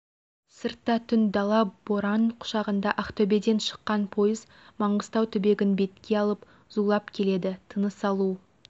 сыртта түн дала боран құшағында ақтөбеден шыққан пойыз маңғыстау түбегін бетке алып зулап келеді тыныс алу